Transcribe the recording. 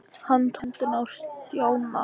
Hann tók í hendina á Stjána.